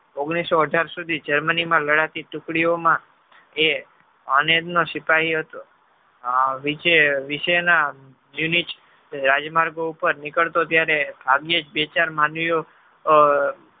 ઓગણીસો અઢાર સુધી Germany માં ગણાતી ટુકડી ઓ માં અને જ નો સ્વીકાર હતો વિષેય ના રાજમાર્ગી ઉપર નીકળતો ત્યારે ભાગ્યેજ બે ચાર માનવી વો